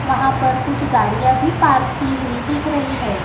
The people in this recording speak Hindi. वहां पर कुछ गाड़ियां भी पार्क की हुई दिख रही है।